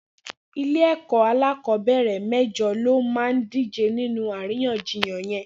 Ilé ẹkọ akọbẹrẹ mẹjọ ló má dijé ninú àríyànjíyàn yèn